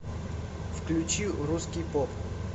включи русский поп